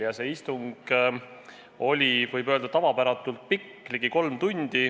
Ja see istung oli, võib öelda, tavapäratult pikk, ligi kolm tundi.